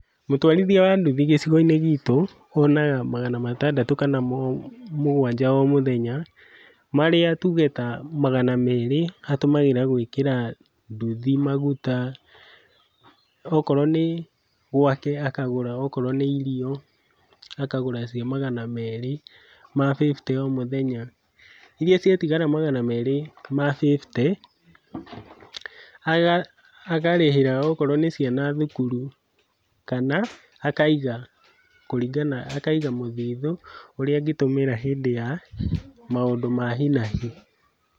Mũtwarithia wa nduthi gĩcigo-inĩ gitũ ,onaga magana matandatũ kana mũgwanja o mũthenya, marĩa tuge ta magana merĩ atũmagĩra gwĩkĩra nduthi maguta, okorwo nĩ gwake akagũra okorwo nĩ irio akagũra cia magana merĩ ma fifty o mũthenya, iria ciatigara magana merĩ ma fifty agarĩhĩra okorwo nĩ ciana thukuru kana akaiga kũringana akaiga mũthithũ ũrĩa angĩtũmĩra hĩndĩ ya maũndũ ma hinahi.